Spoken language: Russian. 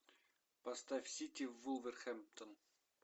поставь сити вулверхэмптон